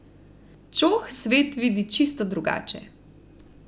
Čoh svet vidi čisto drugače.